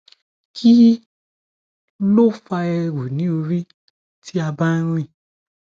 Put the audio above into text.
kí ló fa eru ni ori ti a bá n rìn